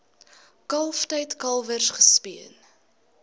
kalftyd kalwers gespeen